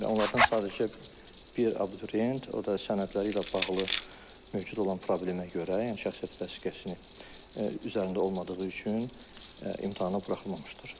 Onlardan sadəcə bir abituriyent, o da sənədləri ilə bağlı mövcud olan problemə görə, yəni şəxsiyyət vəsiqəsini üzərində olmadığı üçün imtahana buraxılmamışdır.